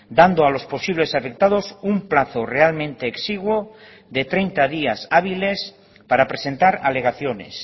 dando a los posibles afectados un plazo realmente exiguo de treinta días hábiles para presentar alegaciones